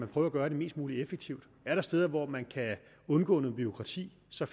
prøve at gøre det mest muligt effektivt er der steder hvor man kan undgå noget bureaukrati så